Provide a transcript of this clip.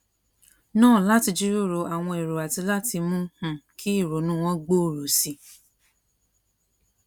náà láti jíròrò àwọn èrò àti láti mú um kí ìrònú wọn gbòòrò sí i